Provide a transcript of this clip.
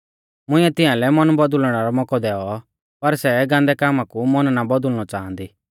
मुंइऐ तियांलै मन बौदुल़णै रौ मौकौ दैऔ पर सै गान्दै कामा कु मन बौदुल़णौ नाईं च़ांइदी